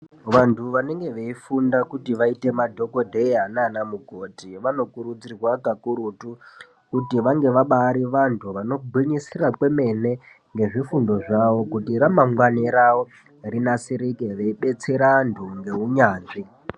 Vanhu vanenge weifunda kuti vaite madhogodheya nana mukoti vanokurudzirwa kakurutu kuti vabarivantu vanogwinyisira kwemene nezvifundo zvawo kuti ramangwani rawo ribatsorike ngekubetsera vantu ngeunyanzvi.